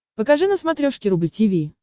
покажи на смотрешке рубль ти ви